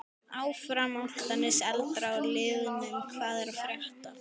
Áfram Álftanes.Eldra úr liðnum Hvað er að frétta?